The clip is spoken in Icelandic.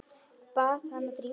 Bað hana að drífa sig.